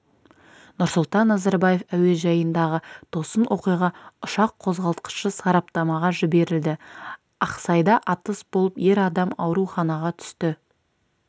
нұрсұлтан назарбаев әуежайындағы тосын оқиға ұшақ қозғалтқышы сараптамаға жіберілді ақсайда атыс болып ер адам ауруханаға түсті